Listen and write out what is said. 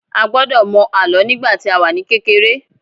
A gbọ́dọ̀ mọ àlọ́ nígbà tí a wà ní kékeré.